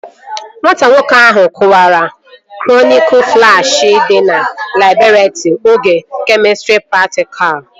Nwata nwoke ahụ kụwara kronika flaski dị na labọretrị oge kemịstrị praktikal